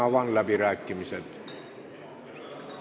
Avan läbirääkimised.